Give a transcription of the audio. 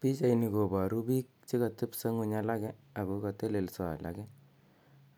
Pichani koparu pik che katepisa ng'uny alake ko ka teleso alake